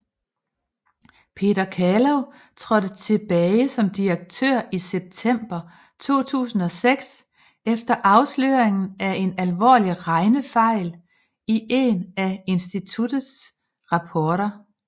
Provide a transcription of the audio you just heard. Peter Calow trådte tilbage som direktør i september 2006 efter afsløringen af en alvorlig regnefejl i en af instituttets rapporter